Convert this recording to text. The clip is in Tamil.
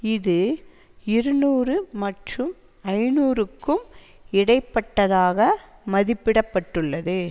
இது இருநூறு மற்றும் ஐநூறுக்கும் இடைப்பட்டதாக மதிப்பிட பட்டுள்ளது